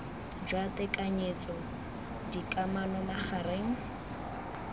jwa tekanyetso d kamano magareng